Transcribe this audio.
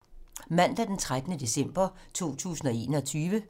Mandag d. 13. december 2021